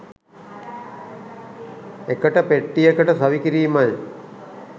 එකට පෙට්ටියකට සවි කිරීමයි.